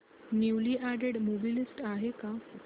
newly added movie list आहे का